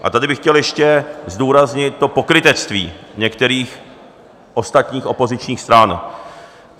A tady bych chtěl ještě zdůraznit to pokrytectví některých ostatních opozičních stran.